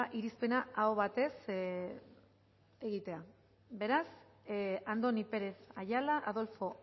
irizpena aho batez egitea beraz andoni pérez ayala adolfo